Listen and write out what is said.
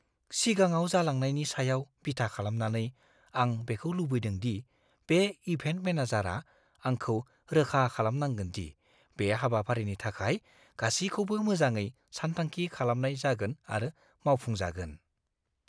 सिगाङाव जालांनायनि सायाव बिथा खालामनानै आं बेखौ लुबैदों दि बे इभेन्ट मेनेजारआ आंखौ रोखा खालामनांगोन दि बे हाबाफारिनि थाखाय गासिखौबो मोजाङै सानथांखि खालामनाय जागोन आरो मावफुंजागोन।